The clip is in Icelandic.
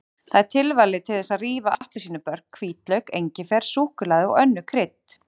Það er tilvalið til þess að rífa appelsínubörk, hvítlauk, engifer, súkkulaði og önnur krydd.